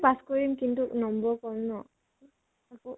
pass কৰিম কিন্তু নম্বৰ কম ন। আকৌ